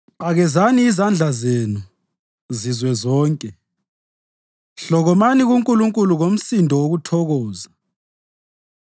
Qakezani izandla zenu, zizwe zonke; hlokomani kuNkulunkulu ngomsindo wokuthokoza.